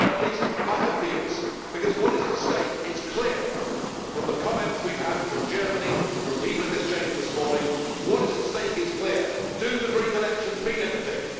At least, I hope he is, because what is at stake as is clear from the comments we have had from Germany and from people in this Chamber this morning what is at stake is clear do the Greek elections mean anything?